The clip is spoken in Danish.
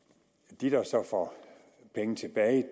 at de der så får penge tilbage